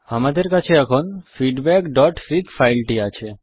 আমাদের কাছে এখন feedbackফিগ ফাইলটি আছে